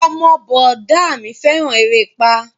Ọmọ bọ̀dá a mi fẹ́ràn erépá